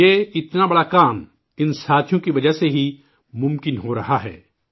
یہ اتنا بڑا کام ان ساتھیوں کی وجہ سے ہی ممکن ہو رہا ہے